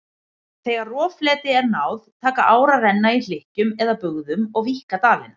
Þegar roffleti er náð taka ár að renna í hlykkjum eða bugðum og víkka dalina.